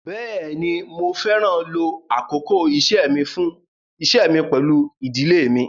Bẹ́ẹ̀ni, Mo fẹran ló àkókò ìṣẹ́mi mi pẹ̀lú idílé mi